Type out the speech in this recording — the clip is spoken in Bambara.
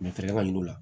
Mɛ fɛɛrɛ ka yir'u la